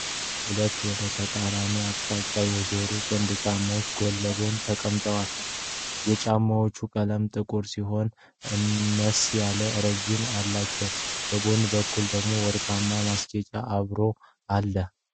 ሁለት ወደ ተቃራኒ አቅጣጫ የዞሩ ጥንድ ጫማዎች ጎን ለጎን ተቀምጠዋል። የጫማዎቹ ቀለም ጥቁር ሲሆን አነስ ያለ ተረከዝም አላቸው። በጎን በኩል ደግሞ ወርቃማ ማስጌጫ አብሮን አለ።